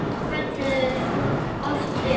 Þeir kölluðu oft upp